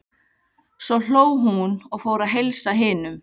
Svo hló hún og fór að heilsa hinum.